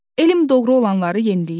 Elm doğru olanları yeniləyir.